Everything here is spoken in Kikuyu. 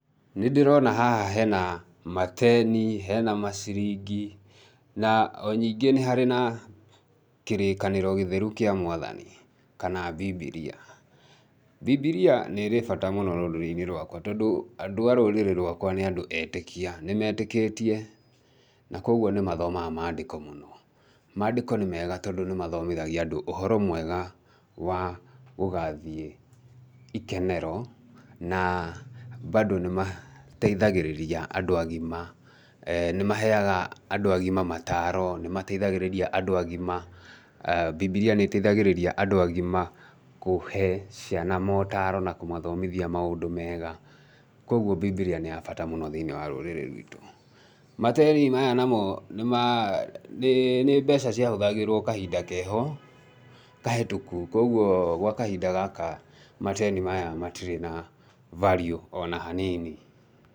Nĩ ndĩrona haha hena mateni, hena maciringi na onyingĩ nĩ harĩ na kĩrĩkanĩro gĩtheru kĩa mwathani kana bibiria. Bibiria nirĩ bata rũrĩinĩ rũakwa, tondũ andũ a rũrĩrĩ rũakwa nĩ rwa andũ etĩkia, nĩ metĩkĩtie na kwoguo nĩ mathomaga mandĩko mũno. Mandĩko nĩmega tondũ nĩ mathomithagia andũ ũhoro mwega wa gũgathiĩ ikenero na mbandũ nĩ mateithagĩrĩria andũ agima, nĩ maheaga andũ agima mataro, nĩ mateithagĩgĩrĩria andũ agima, bibiria nĩ ĩteithagĩrĩria andũ agima kũhe ciana motaro na kũmathomithia maũndũ mega, kwoguo bibilia nĩ ya bata mũno thĩ-iniĩ wa rũrĩrĩ ruitũ. Mateni maya namo nĩ mbeca ciahũthagĩrwo kahinda keho kahetũku, kwoguo, gwa kahinda gaka mateni maya matirĩ na value ona hanini.